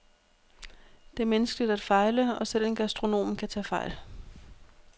Det er menneskeligt at fejle, og selv en gastronom kan tage fejl.